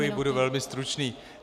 Děkuji, budu velmi stručný.